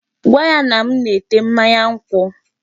Gwa ya na m na-ete mmanya nkwụ.